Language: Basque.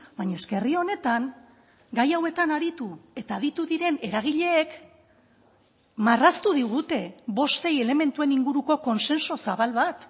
baina eske herri honetan gai hauetan aritu eta aditu diren eragileek marraztu digute bost sei elementuen inguruko kontsensu zabal bat